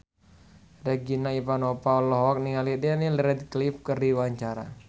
Regina Ivanova olohok ningali Daniel Radcliffe keur diwawancara